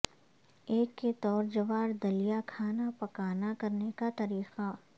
ایک کے طور جوار دلیہ کھانا پکانا کرنے کا طریقہ